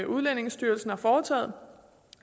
udlændingestyrelsen har foretaget